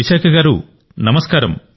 విశాఖ గారూ నమస్కారం